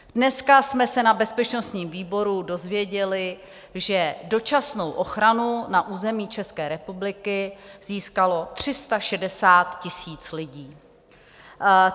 Dneska jsme se na bezpečnostním výboru dozvěděli, že dočasnou ochranu na území České republiky získalo 360 000 lidí.